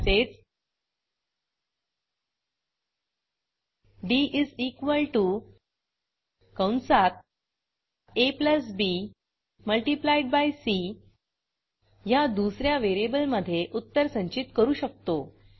तसेच डी कंसात ab multiplied by C ह्या दुस या व्हेरिएबलमधे उत्तर संचित करू शकतो